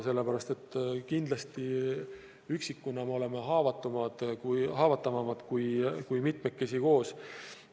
Sellepärast et kindlasti üksikuna me oleme haavatavamad kui mitmekesi koos.